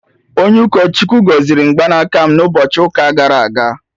Onye ụkọ Chukwu gọziri mgbanaka m na ụbọchị ụka gara aga